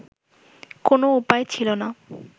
কোন উপায় ছিলো না